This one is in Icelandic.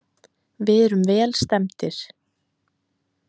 Við erum vel stemmdir.